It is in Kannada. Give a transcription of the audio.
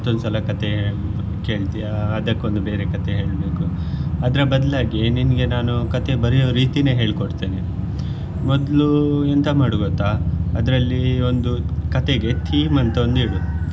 ಸಲ ಕಥೆ ಕೇಳ್ತಿಯಾ ಅದಕ್ಕೊಂದು ಬೇರೆ ಕಥೆ ಹೇಳ್ಬೇಕು ಅದ್ರ ಬದಲಾಗಿ ನಿನಗೆ ನಾನು ಕಥೆ ಬರೆಯೊ ರೀತೀನೇ ಹೇಳಿ ಕೊಡ್ತೇನೆ ಮೊದ್ಲು ಎಂತ ಮಾಡು ಗೊತ್ತಾ ಅದ್ರಲ್ಲಿ ಒಂದು ಕಥೆಗೆ theme ಅಂತ ಒಂದು ಇಡು .